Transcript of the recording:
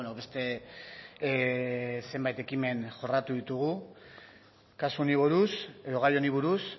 beste zenbait ekimen jorratu ditugu kasu honi buruz edo gai honi buruz